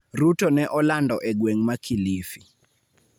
Ruto ne olando e gweng' ma Kilifi.